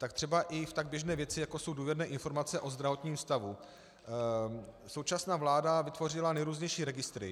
Tak třeba i v tak běžné věci, jako jsou důvěrné informace o zdravotním stavu, současná vláda vytvořila nejrůznější registry.